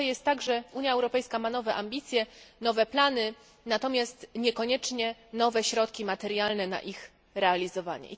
To jest trochę tak, że Unia Europejska ma nowe ambicje, nowe plany, natomiast niekoniecznie nowe środki materialne na ich realizowanie.